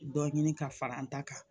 Dɔ ɲini ka fara n ta kan